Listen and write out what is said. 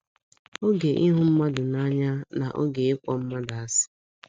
Oge ịhụ mmadụ n’anya na oge n’anya na oge ịkpọ mmadụ asị